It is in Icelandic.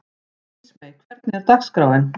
Ísmey, hvernig er dagskráin?